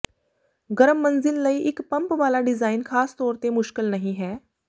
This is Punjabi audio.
ਗਰਮ ਮੰਜ਼ਿਲ ਲਈ ਇਕ ਪੰਪ ਵਾਲਾ ਡਿਜ਼ਾਈਨ ਖਾਸ ਤੌਰ ਤੇ ਮੁਸ਼ਕਲ ਨਹੀਂ ਹੈ